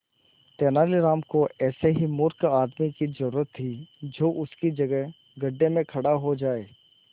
तेनालीराम को ऐसे ही मूर्ख आदमी की जरूरत थी जो उसकी जगह गड्ढे में खड़ा हो जाए